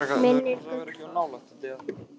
Myndir: Gullfoss.